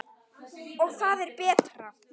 Og er það betra?